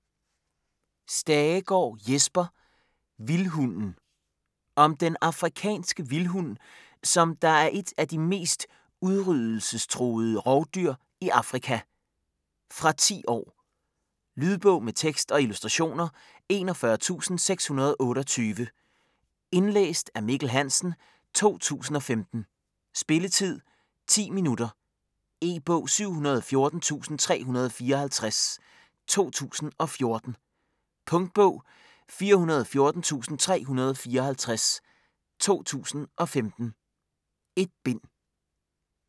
Stagegaard, Jesper: Vildhunden Om den afrikanske vildhund, som der er et af de mest udryddelsestruede rovdyr i Afrika. Fra 10 år. Lydbog med tekst og illustrationer 41628 Indlæst af Mikkel Hansen, 2015. Spilletid: 0 timer, 10 minutter. E-bog 714354 2014. Punktbog 414354 2015. 1 bind.